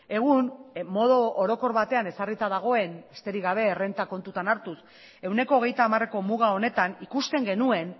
egun modu orokor batean ezarrita dagoen besterik gabe errenta kontuan hartuz ehuneko hogeita hamareko muga honetan ikusten genuen